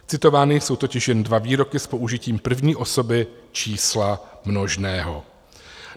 Citovány jsou totiž jen dva výroky s použitím první osoby čísla množného.